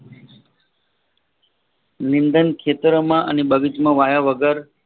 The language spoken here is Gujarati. નિંદણ ખેતરો માં અને બગીચામાં વાયા વગર